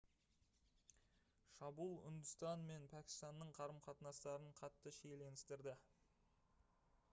шабуыл үндістан мен пәкістанның қарым-қатынастарын қатты шиеленістірді